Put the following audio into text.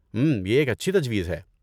ہمم، یہ ایک اچھی تجویز ہے۔